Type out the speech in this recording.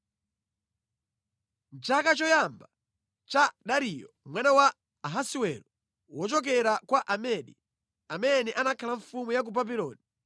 Mʼchaka choyamba cha Dariyo mwana wa Ahasiwero (wochokera kwa Amedi), amene anakhala mfumu ya ku Babuloni,